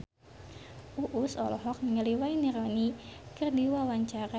Uus olohok ningali Wayne Rooney keur diwawancara